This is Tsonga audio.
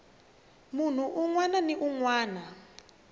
munhu un wana ni un